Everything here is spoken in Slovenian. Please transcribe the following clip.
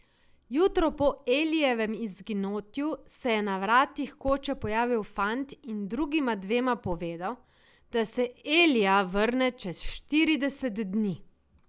Jutro po Elijevem izginotju se je na vratih koče pojavil fant in drugima dvema povedal, da se Elija vrne čez štirideset dni.